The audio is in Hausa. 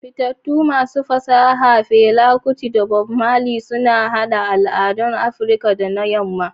Fitattun masu fasaha Fela Kuti da Bob Marley sun haɗa al'adun Afirka da na Yamma.